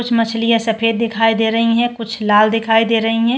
कुछ मछलियां सफेद दिखाई दे रहीं हैं कुछ लाल दिखाई दे रही हैं।